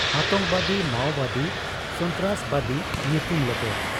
ᱟᱛᱚᱝᱠᱚᱵᱟᱫᱤ, ᱢᱟᱣᱵᱟᱫᱤ, ᱥᱚᱱᱛᱨᱟᱥᱵᱟᱫᱤ, ᱧᱩᱛᱩᱢ ᱞᱮᱯᱮ ᱾